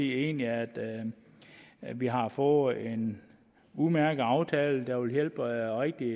egentlig at at vi har fået en udmærket aftale der vil hjælpe rigtig